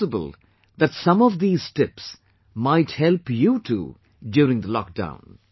It's possible that some of these tips might help you too during the lock down